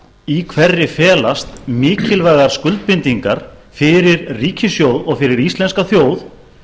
í hverri felast mikilvægar skuldbindingar fyrir ríkissjóð og fyrir íslenska þjóð